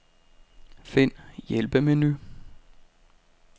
Find hjælpemenu.